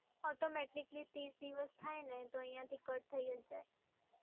automatically ત્રીસ દિવસ થાય ને તો અહિંયાથી કટ થય જ જાય.